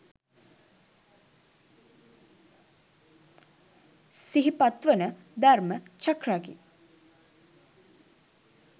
සිහිපත් වන ධර්ම චක්‍රකි